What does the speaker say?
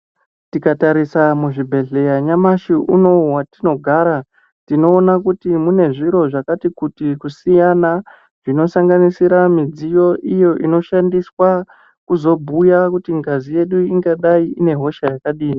Tikatarisa muzvibhedhleya nyamashi unouyu vatinogara tinona kuti munezviro zvakati kuti kusiyana. Zvinosanganisira mudziyo iyo inoshandiswa kuzombuya kuti ngazi yedu ingadai inehosha yakadini.